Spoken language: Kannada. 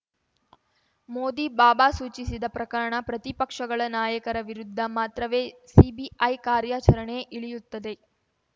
ಮೋದಿ ಬಾಬಾ ಸೂಚಿಸಿದ ಪ್ರಕರಣ ಪ್ರತಿಪಕ್ಷಗಳ ನಾಯಕರ ವಿರುದ್ಧ ಮಾತ್ರವೇ ಸಿಬಿಐ ಕಾರ್ಯಾಚರಣೆ ಇಳಿಯುತ್ತದೆ